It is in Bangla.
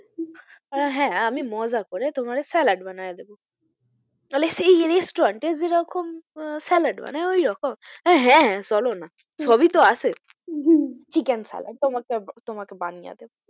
আমি বললাম হ্যাঁ আমি মজা করে তোমারে স্যালাড বানিয়ে দেব বলে সেই restaurant এ যে রকম আহ স্যালাড বানায় ওই রকম? আমি হ্যাঁ হ্যাঁ চলো না সবই তো আছে উহ chicken স্যালাড তোমাকে বানিয়ে দেব,